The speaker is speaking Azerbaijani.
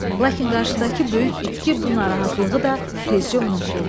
Lakin qarşıdakı böyük itki bu narahatlığı da tezcə unutdurdu.